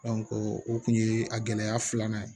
o kun ye a gɛlɛya filanan ye